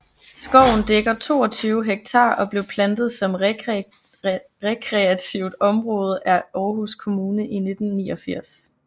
Skoven dækker 22 hektar og blev plantet som rekreativt område af Aarhus Kommune i 1989